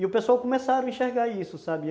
E o pessoal começaram a enxergar isso, sabe?